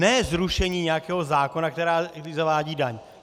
Ne zrušení nějakého zákona, který zavádí daň.